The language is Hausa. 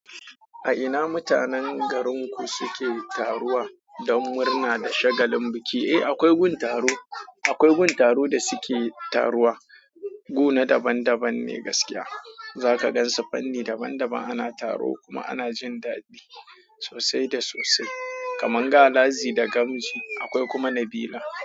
A ina mutanen garinku suke taruwa don murna da shagalin biki? Eh, akwai gun taro, akwai gun taro da suke taruwa. Gu na daban daban ne gaskiya. Zaka gansu fanni daban daban ana taro kuma ana jin dadi sosai da sosai. Kamar Galazi da Gamji, akwai kuma Nabila.